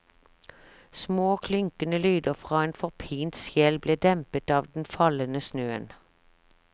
Små klynkende lyder fra en forpint sjel ble dempet av den fallende snøen.